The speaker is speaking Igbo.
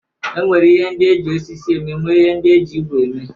E nwere ihe ndị e ji osisi eme nwee ndị e ji igwe eme.